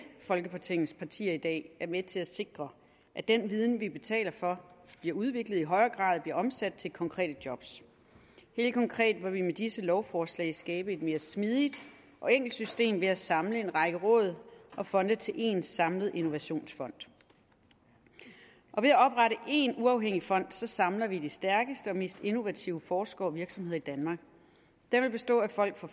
folketingets partier i dag er med til at sikre at den viden som vi betaler for bliver udviklet og i højere grad bliver omsat til konkrete jobs helt konkret vil vi med disse lovforslag skabe et mere smidigt og enkelt system ved at samle en række råd og fonde til en samlet innovationsfond og ved at oprette én uafhængig fond samler vi de stærkeste og mest innovative forskere og virksomheder i danmark den vil bestå af folk fra